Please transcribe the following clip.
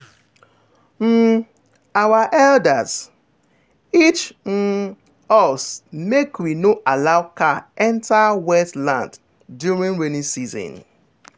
um our elders teach um us make we no allow cow enter wet land during rainy season.